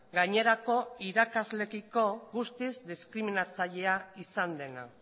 gainerako irakasleekiko guztiz diskriminatzailea izan dena